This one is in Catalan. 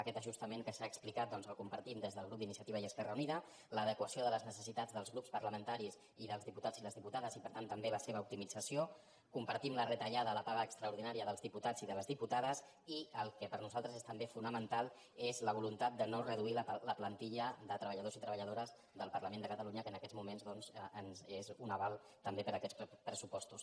aquest ajustament que s’ha explicat doncs el compartim des del grup d’iniciativa i esquerra unida l’adequació de les necessitats dels grups parlamentaris i dels diputats i les diputades i per tant també la seva optimització compartim la retallada a la paga extraordinària dels diputats i de les diputades i el que per nosaltres és també fonamental és la voluntat de no reduir la plantilla de treballadors i treballadores del parlament de catalunya que en aquests moments doncs és un aval també per a aquests pressupostos